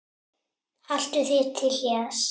Haltu þig til hlés.